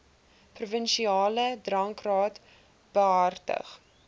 provinsiale drankraad behartig